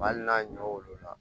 Hali n'a ɲɔ wolo la